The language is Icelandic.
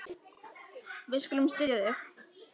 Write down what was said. Við skulum styðja þig.